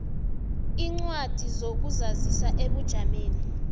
iincwadi zokuzazisa ebujameni